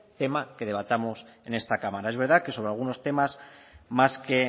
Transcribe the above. tema que debatamos en esta cámara es verdad que sobre algunos temas más que